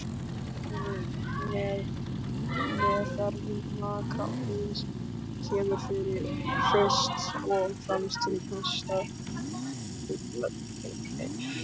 Við meðferð magakrabbameins kemur fyrst og fremst til kasta skurðlæknis.